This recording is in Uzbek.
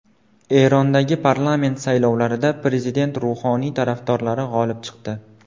Erondagi parlament saylovlarida prezident Ruhoniy tarafdorlari g‘olib chiqdi.